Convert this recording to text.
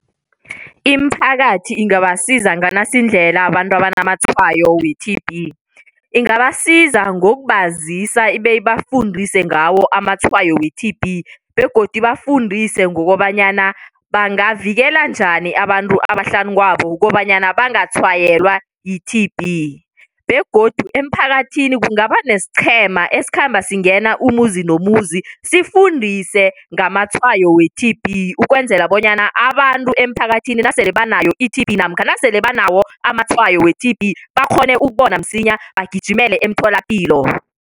Imiphakathi ingabasiza nganasindlela abantu abanamatshwayo we-T_B. Ingabasiza ngokubazisa beyibafundise ngawo amatshwayo we-T_B begodu ibafundise ngokobanyana bangavikela njani abantu abahlanu kwabo kukobanyana bangatshwayelwa yi-T_B begodu emphakathini kungaba nesiqhema esikhamba singena umuzi nomuzi sifundise ngamatshwayo we-T_B ukwenzela bonyana abantu emphakathini nasele banayo i-T_B namkha nasele banawo amatshwayo we-T_B bakghone ukubona msinya bagijimele emtholapilo.